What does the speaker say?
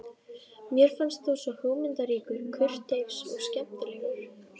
Mér fannst þú svo hugmyndaríkur, kurteis og skemmtilegur.